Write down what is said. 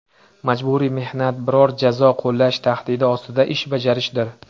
Majburiy mehnat biror jazo qo‘llash tahdidi ostida ish bajarishdir.